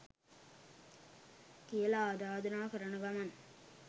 කියල ආරධනා කරන ගමන්